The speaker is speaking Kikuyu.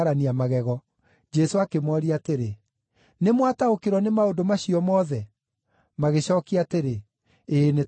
Jesũ akĩmooria atĩrĩ, “Nĩmwataũkĩrwo nĩ maũndũ macio mothe?” Magĩcookia atĩrĩ, “Ĩĩ, nĩtwataũkĩrwo.”